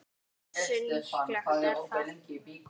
Hversu líklegt er það?